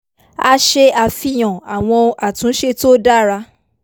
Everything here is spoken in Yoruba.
a ṣe àfihàn àwọn àtúnṣe tó dára